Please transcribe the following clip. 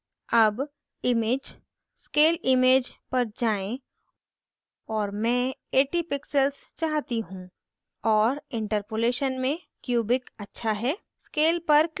अब image scale image पर जाएँ और मैं 80 pixels चाहती हूँ और interpolation में cubic अच्छा है scale पर click करती हूँ